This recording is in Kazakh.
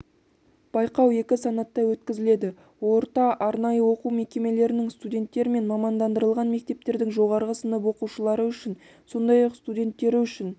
байқау екі санатта өткізіледі орта арнайы оқу мекемелерінің студенттері мен мамандандырылған мектептердің жоғарғы сынып оқушылары үшін сондай-ақ студенттері үшін